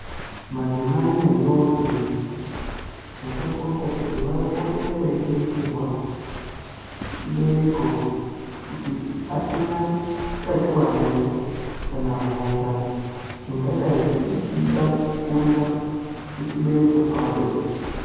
Madzimayi nendombi zvakakosha kuti vapote veiringirwa chibereko kuti achina utachiwana ere kana hosha ingadayi ichida kukurira kuchibereko kwavo .